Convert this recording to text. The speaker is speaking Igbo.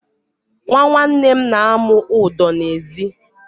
Nwa nwanne m na-amụ ụdọ n'ezi.